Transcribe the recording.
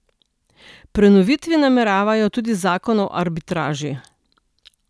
Prenoviti nameravajo tudi zakon o arbitraži.